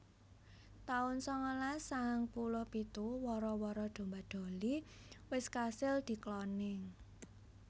taun sangalas sangang puluh pitu Wara wara domba Dolly wis kasil dikloning